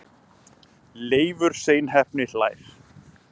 Leifur seinheppni hlær.